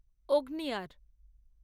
অগ্নিয়ার